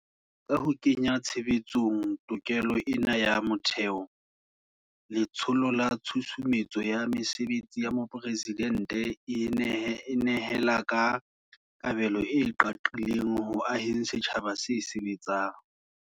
Ka ho kenya tshebetsong tokelo ena ya motheo, Letsholo la Tshusumetso ya Mesebetsi ya Mopresidente e nehela ka kabelo e qaqileng ho aheng setjhaba se sebetsang.